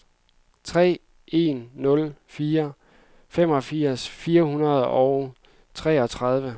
tre en nul fire femogfirs fire hundrede og treogtredive